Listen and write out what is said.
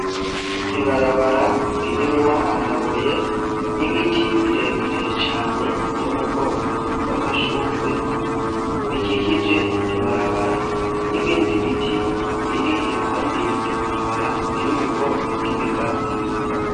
Ibarabara ririmwo amabuye, n'ibiti birebire cane biri mu bwoko bw'amashurwe, bikikije iryo barabara, n'ibindi biti biri iruhande y'iryo barabara biri mu bwoko bw'ibigazi.